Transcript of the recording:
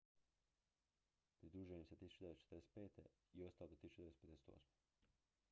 pridružio im se 1945. i ostao do 1958